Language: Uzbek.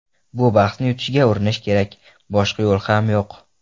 Bu bahsni yutishga urinish kerak, boshqa yo‘l ham yo‘q.